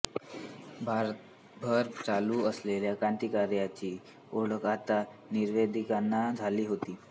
भारतभर चालू असलेल्या क्रांतिकार्याची ओळख आता निवेदितांना झाली होती